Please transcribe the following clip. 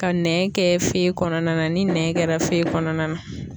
Ka nɛn kɛ fe kɔnɔna na ni nɛn kɛra fe kɔnɔna na.